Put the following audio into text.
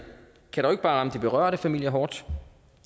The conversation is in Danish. bare de berørte familier hårdt